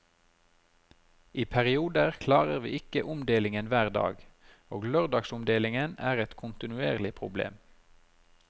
I perioder klarer vi ikke omdeling hver dag, og lørdagsomdeling er et kontinuerlig problem.